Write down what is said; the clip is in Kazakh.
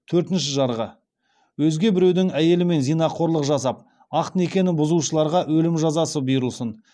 төртінші жарғы өзге біреудің әйелімен зинақорлық жасап ақ некені бұзушыларға өлім жазасына бұйырылсын